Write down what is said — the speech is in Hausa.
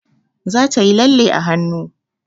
Za ta yi lalle a hanu